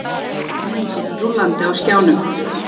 Myndin rúllandi á skjánum.